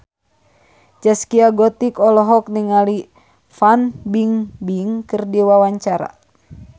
Zaskia Gotik olohok ningali Fan Bingbing keur diwawancara